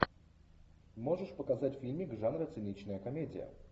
можешь показать фильмик жанра циничная комедия